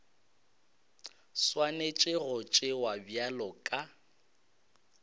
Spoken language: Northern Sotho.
swanetše go tšewa bjalo ka